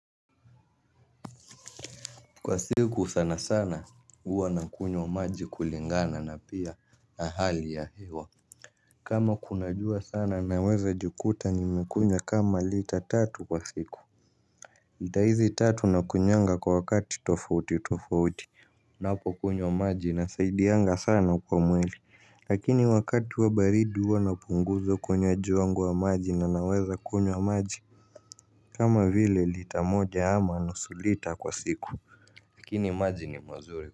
Kwa siku sana sana huwa nakunywa maji kulingana na pia na hali ya hewa. Kama kuna jua sana naweza jikuta nimekunya kama lita tatu kwa siku lita hizi tatu nakunywanga kwa wakati tofauti tofauti. Napokunywa maji inasaidianga sana kwa mwili. Lakini wakati wa baridi huwa na punguza kunywa ju wangu wa maji na naweza kunywa maji. Kama vile lita moja ama nusu lita kwa siku lakini maji ni mazuri.